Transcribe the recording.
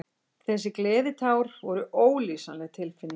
Þessi gleðitár voru ólýsanleg tilfinning.